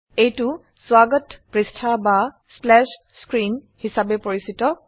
এইটো স্বাগত পৃষ্ঠা বা স্প্ল্যাশ স্ক্ৰীন হিসাবে পৰিচিত